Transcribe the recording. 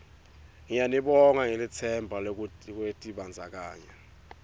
ngiyanibonga ngelitsemba lwekutibandzakanya